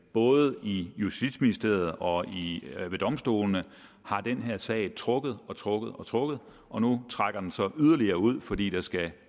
både i justitsministeriet og ved domstolene har den her sag trukket og trukket og trukket og nu trækker den så yderligere ud fordi der skal